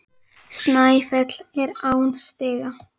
Snæfell er án stiga.